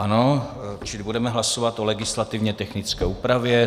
Ano, čili budeme hlasovat o legislativně technické úpravě.